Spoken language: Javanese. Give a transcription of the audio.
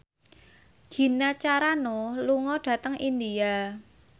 Gina Carano lunga dhateng India